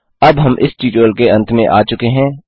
अब हम इस ट्यूटोरियल के अंत में आ चुके हैं